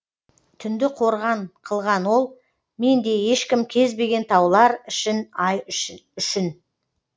түнді қорған қылған ол мендей ешкім кезбеген таулар ішін ай үшін